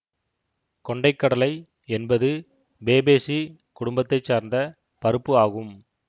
கொண்டை கடலை என்பது பேபேசி குடும்பத்தை சார்ந்த பருப்பு ஆகும்